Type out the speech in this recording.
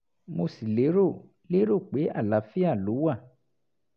mo sì lérò lérò pé àlàáfíà ló wà